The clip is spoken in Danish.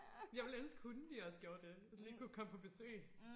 jeg ville elske hunde de også gjorde det de lige komme på besøg